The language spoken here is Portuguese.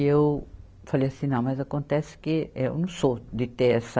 E eu falei assim, não, mas acontece que eu não sou de ter essa